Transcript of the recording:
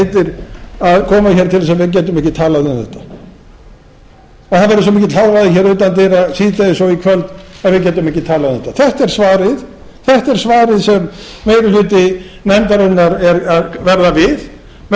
til að við getum ekki talað um þetta og það verði svo mikill hávaði utan dyra síðdegis og í kvöld að við getum ekki talað um þetta þetta er svarið sem meiri hluti nefndarinnar er að verða við með því